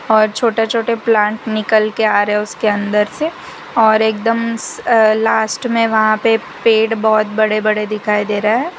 और छोटे छोटे प्लांट निकल के आ रहे हैं उसके अंदर से और एकदम अ लास्ट में वहां पे पेड़ बहुत बड़े बड़े दिखाई दे रहा है।